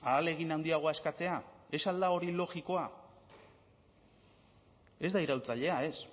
ahalegin handiagoa eskatzea ez al da hori logikoa ez da iraultzailea ez